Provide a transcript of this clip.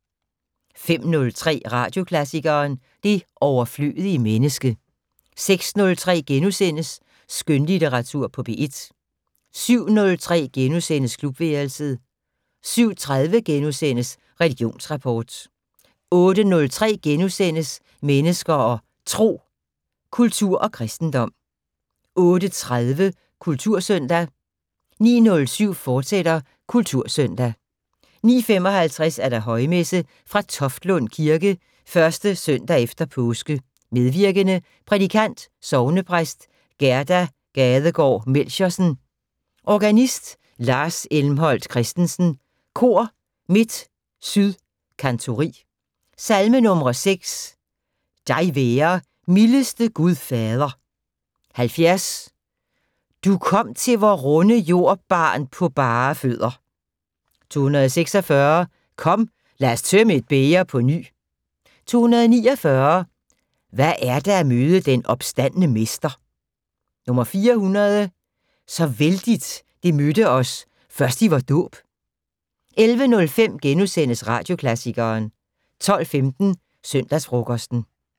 05:03: Radioklassikeren: Det overflødige menneske 06:03: Skønlitteratur på P1 * 07:03: Klubværelset * 07:30: Religionsrapport * 08:03: Mennesker og Tro: Kultur og kristendom * 08:30: Kultursøndag 09:07: Kultursøndag, fortsat 09:55: Højmesse - fra Toftlund Kirke. 1. søndag efter påske. Medvirkende: Prædikant: Sognepræst Gerda Gadegaard Melchiorsen. Organist Lars Elmholdt Christesen. Kor: Midt Syd Kantori. Salmenumre: 6: "Dig være, mildeste Gud Fader". 70: "Du kom til vor runde jord barn på bare fødder". 246: "Kom, lad os tømme et bæger på ny". 249: "Hvad er det at møde den opstandne mester". 400: "Så vældigt det mødte os først i vor dåb". 11:05: Radioklassikeren * 12:15: Søndagsfrokosten